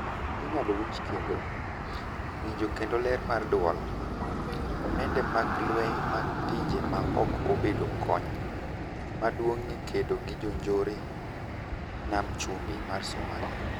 Inyalo winjo kendo: Winjo kendo ler mar duol,:Mende mag lweny mag pinje maoko obedo kony maduong' e kedo gi njoreyoo nam chumbi mar Somalia,